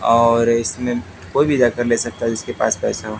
और इसमें कोई भी जाकर ले सकता है जिसके पास पैसा--